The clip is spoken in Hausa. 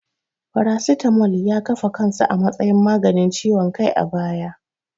Paracetamol ya kafa kansa a matsayin maganin ciwon kai a baya.